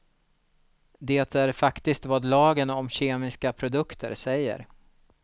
Det är faktiskt vad lagen om kemiska produkter säger.